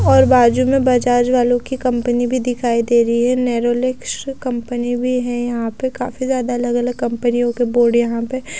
और बाजू में बजाज वालों की कंपनी भी दिखाई दे रही है नेरोलैक कंपनी ने भी है यहां पे काफी ज्यादा अलग अलग कंपनियों के बोर्ड यहां पे--